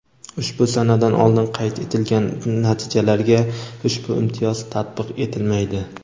Ushbu sanadan oldin qayd etilgan natijalarga ushbu imtiyoz tatbiq etilmaydi.